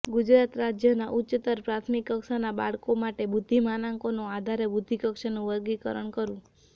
ગુજરાત રાજયના ઉચ્ચતર પ્રાથમિક કક્ષાનાં બાળકો માટે બુદ્ધિમાનાંકોને આધારે બુદ્ધિકક્ષાનું વર્ગીકરણ કરવું